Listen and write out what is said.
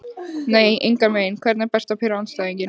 nei engan veginn Hvernig er best að pirra andstæðinginn?